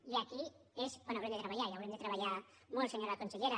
i aquí és on haurem de treballar i haurem de treballar molt senyora consellera